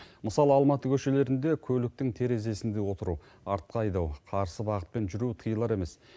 мысалы алматы көшелерінде көліктің терезесінде отыру артқа айдау қарсы бағытпен жүру тиылар емес